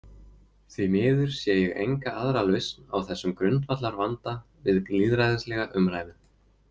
Því miður sé ég enga aðra lausn á þessum grundvallarvanda við lýðræðislega umræðu.